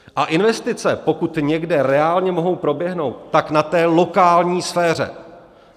A investice, pokud někde reálně mohou proběhnout, tak na té lokální sféře.